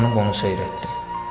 Dayanıb onu seyr etdim.